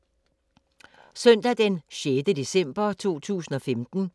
Søndag d. 6. december 2015